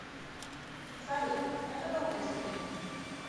салют это долгая история